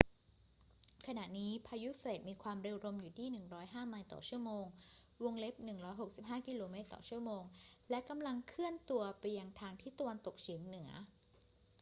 ขณะนี้พายุเฟรดมีความเร็วลมอยู่ที่ 105 ไมล์ต่อชั่วโมง 165 กม./ชม. และกำลังเคลื่อนตัวไปทางทิศตะวันตกเฉียงเหนือ